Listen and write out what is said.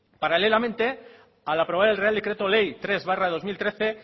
paralelamente al aprobar el real decreto ley tres barra dos mil trece